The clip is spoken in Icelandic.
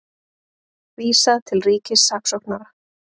Vísað til ríkissaksóknara